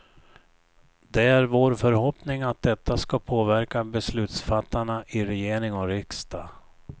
Det är vår förhoppning att detta ska påverka beslutsfattarna i regering och riksdag.